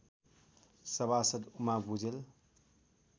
सभासद् उमा भुजेल